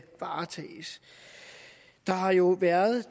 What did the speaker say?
varetages der har jo været